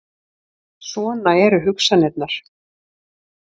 Svona eru hugsanirnar.